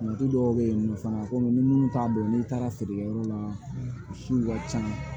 Du dɔw bɛ yen nɔ fana komi ni minnu t'a dɔn n'i taara feerekɛyɔrɔ la su ka ca